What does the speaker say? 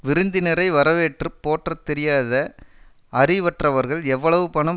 விருந்தினரை வரவேற்று போற்ற தெரியாத அறிவற்றவர்கள் எவ்வளவு பணம்